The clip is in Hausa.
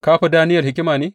Ka fi Daniyel hikima ne?